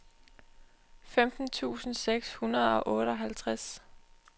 femten tusind seks hundrede og otteoghalvtreds